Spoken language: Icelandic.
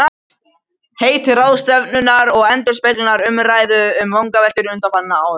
Heiti ráðstefnunnar endurspeglar umræðu og vangaveltur undanfarinna ára.